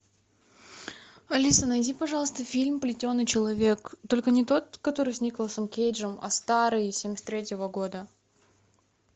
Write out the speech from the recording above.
алиса найди пожалуйста фильм плетеный человек только не тот который с николасом кейджем а старый семьдесят третьего года